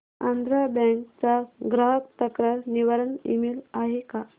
Andhra bank चा ग्राहक तक्रार निवारण ईमेल आहे का